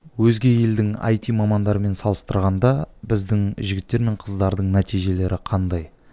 өзге елдің айти мамандарымен салыстырғанда біздің жігіттер мен қыздардың нәтижелері қандай